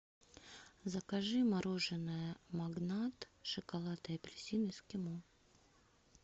закажи мороженое магнат шоколад и апельсин эскимо